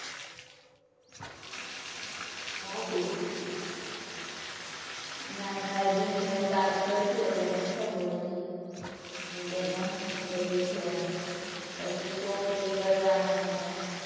જાશું. મારે માર દીદી મને વાત કરતી હોય એટલે મને ખબર હોય. હમ્મ કે ત્યાં શું હોય છે એમ પછી shopping કરવાનું ને.